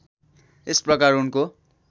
यस प्रकार उनको